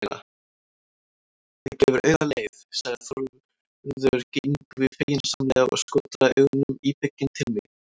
Það gefur auga leið, sagði Þórður Yngvi feginsamlega og skotraði augunum íbygginn til mín.